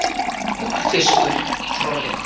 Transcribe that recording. Tunglfiskur í trollið